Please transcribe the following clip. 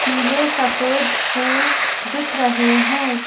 पीले सफेद फूल दिख रहे हैं।